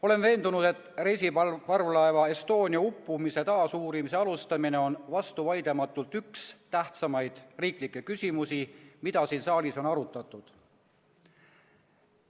Olen veendunud, et reisiparvlaeva Estonia uppumise taasuurimise alustamine on vastuvaidlematult üks tähtsamaid riiklikke küsimusi, mida siin saalis on arutatud.